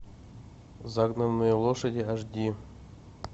загнанные лошади аш ди